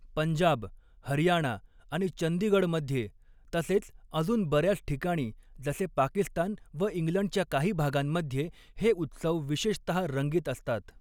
पंजाब, हरियाणा आणि चंदीगडमध्ये तसेच अजून बऱ्याच ठिकाणी जसे पाकिस्तान व इंग्लंडच्या काही भागांमध्ये हे उत्सव विशेषतः रंगीत असतात.